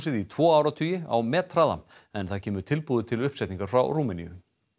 í tvo áratugi á methraða en það kemur tilbúið til uppsetningar frá Rúmeníu